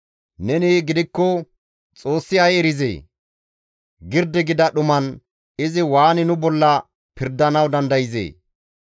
Neni gidikko, ‹Xoossi ay erizee? Girdi gida dhuman izi waani nu bolla pirdanawu dandayzee?